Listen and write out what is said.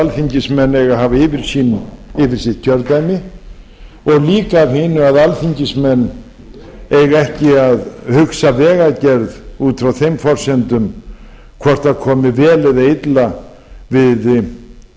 alþingismenn eiga að hafa yfirsýn yfir sitt kjördæmi og líka af hinu að alþingismenn eiga ekki að hugsa vegagerð út frá þeim forsendum hvort það komi vel eða illa við